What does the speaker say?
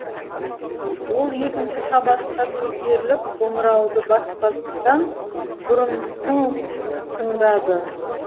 ол екінші қабатқа көтеріліп қоңырауды баспастан бұрын тың тыңдады